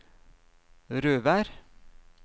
Røvær